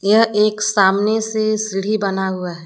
यह एक सामने से सीढ़ी बना हुआ है।